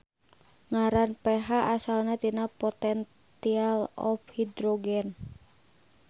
Ngaran pH asalna tina potential of hydrogen.